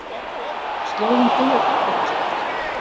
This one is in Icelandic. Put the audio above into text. Slóðinn byrjar þarna einhvers staðar.